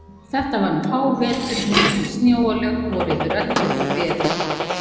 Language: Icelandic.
Þetta var um hávetur, mikil snjóalög voru yfir öllu en veður gott.